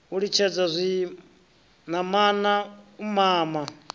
u litshisa zwinamana u mama